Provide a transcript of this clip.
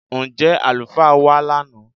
Ǹjẹ́ alufaa wa lánà?